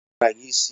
Onye kpara gị isi?